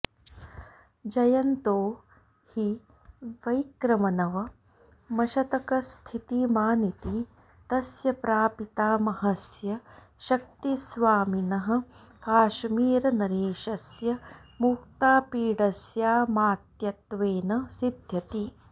जयन्तो हि वैक्रमनवमशतकस्थितिमानिति तस्य प्रापितामहस्य शक्तिस्वामिनः काश्मीरनरेशस्य मुक्तापीडस्यामात्यत्वेन सिध्यति